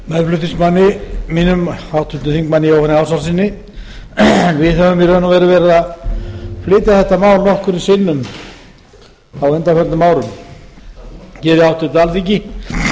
meðflutningsmanni mínum háttvirtum þingmanni jóhanni ársælssyni við höfum í raun og veru verið að flytja þetta mál nokkrum sinnum á undanförnum árum hér í háttvirtu alþingi